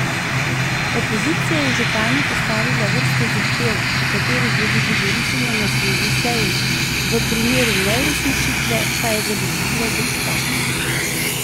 Opozicija je županu postavila vrsto zahtev, o katerih želi govoriti na naslednji seji, v primeru neuresničitve pa je zagrozila z odstopom.